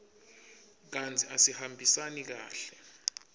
kantsi asihambisani kahle